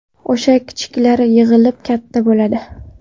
O‘sha kichiklar yig‘ilib katta bo‘ladi.